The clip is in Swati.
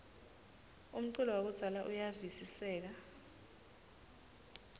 umculo wakudzala uyavistseka